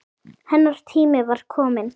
Hennar tími var kominn.